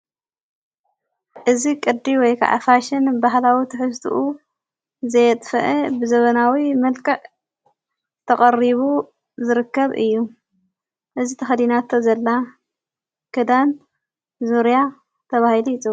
እዝ ቕዲ ወይከ ኣፋሽን በህላዊ ትሕስትኡ ዘየጥፍአ ብዘበናዊ መልቅዕ ዘተቐሪቡ ዝርከብ እ። እዝ ተኸዲናቶ ዘላ ክዳን ዙርያ ተብሂል ይፁዋዕ።